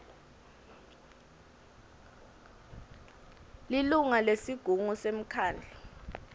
lilunga lesigungu semkhandlu